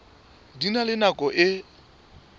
di na le nako e